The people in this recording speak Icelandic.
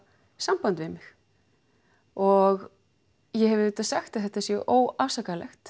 samband við mig og ég hef sagt að þetta sé óafsakanlegt